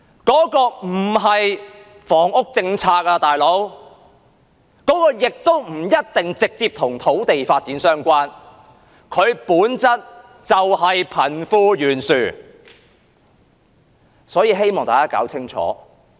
這個做法不是一項房屋政策，亦不一定直接與土地發展相關，本質上是貧富懸殊的問題。